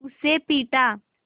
उसे पीटा